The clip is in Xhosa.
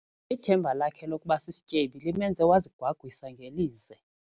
Ithemba lakhe lokuba sisityebi limenze wazigwagwisa ngelize.